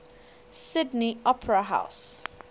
sydney opera house